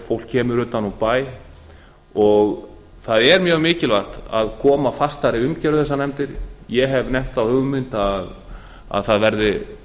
fólk kemur utan úr bæ það er mjög mikilvægt að koma fastari umgjörð á þessar nefndir ég hef nefnt þá hugmynd að það verði